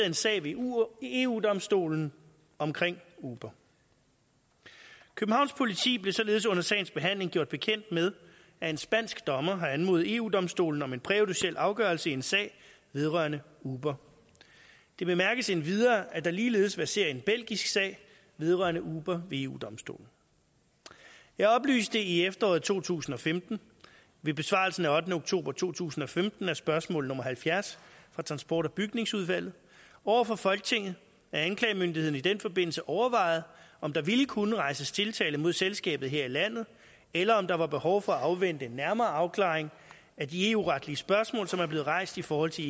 en sag ved eu eu domstolen omkring uber københavns politi blev således under sagens behandling gjort bekendt med at en spansk dommer har anmodet eu domstolen om en præjudiciel afgørelse i en sag vedrørende uber det bemærkes endvidere at der ligeledes verserer en belgisk sag vedrørende uber ved eu domstolen jeg oplyste i efteråret to tusind og femten ved besvarelsen af ottende oktober to tusind og femten af spørgsmål nummer halvfjerds fra transport og bygningsudvalget over for folketinget at anklagemyndigheden i den forbindelse overvejede om der ville kunne rejses tiltale mod selskabet her i landet eller om der var behov for at afvente en nærmere afklaring af de eu retlige spørgsmål som er blevet rejst i forhold til